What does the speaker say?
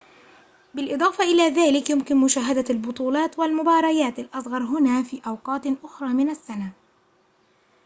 بالإضافة إلى ذلك يُمكن مشاهدة البطولات والمباريات الأصغر هنا في أوقات أخرى من السنة